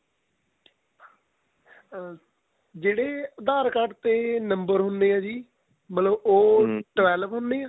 ਅਹ ਜਿਹੜੇ aadhar card ਤੇ number ਹੁਣੇ ਆ ਜੀ ਮਤਲਬ ਉਹ twelve ਹੁਣੇ ਆ